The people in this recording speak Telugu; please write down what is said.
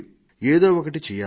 ఏదో ఒకటి చెయ్యాలి